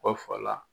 Kɔ fa la